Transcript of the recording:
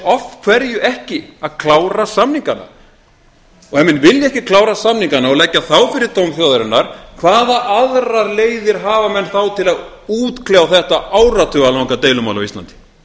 af hverju ekki að klára samningana og ef menn vilja ekki klára samningana og leggja þá fyrir dóm þjóðarinnar hvaða aðrar leiðir hafa menn þá til að útkljá þetta áratuga langa deilumál á íslandi